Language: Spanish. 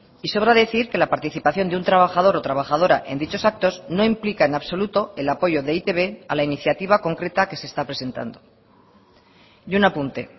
y sobra decir que la participación de un trabajador o trabajadora en dichos actos no implica en absoluto el apoyo de e i te be a la iniciativa concreta que se está presentando y un apunte